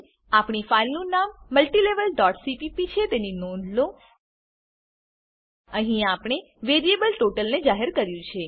આપણી ફાઈલનું નામ multilevelસીપીપી છે તેની નોંધ લો અહીં આપણે વેરીએબલ ટોટલ ને જાહેર કર્યું છે